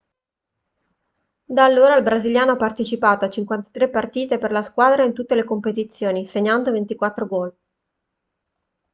da allora il brasiliano ha partecipato a 53 partite per la squadra in tutte le competizioni segnando 24 gol